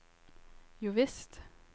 jovisst